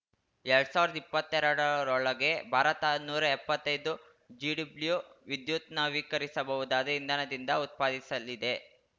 ಎರಡ್ ಸಾವಿರ್ದಾ ಇಪ್ಪತ್ತೆರಡರೊಳಗೆ ಭಾರತ ನೂರಾ ಎಪ್ಪತ್ತೈದು ಜಿಡಬ್ಲ್ಯೂ ವಿದ್ಯುತ್‌ ನವೀಕರಿಸಬಹುದಾದ ಇಂಧನದಿಂದ ಉತ್ಪಾದಿಸಲಿದೆ